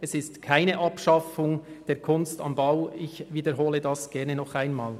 Es ist keine Abschaffung der «Kunst am Bau», wie ich gerne nochmals wiederhole.